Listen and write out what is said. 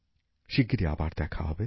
শিগগিরি আবার দেখা হবে